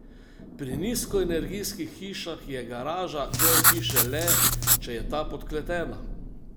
Pri nizkoenergijskih hišah je garaža del hiše le, če je ta podkletena.